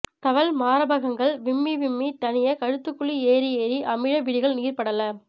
தவள் மாரபகங்கள் விம்மி விம்மி தணிய கழுத்துக்குழி ஏறியேறி அமிழ விழிகளில் நீர்ப்படலம்